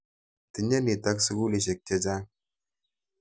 Tinyei nitok sukulisyek che chang'.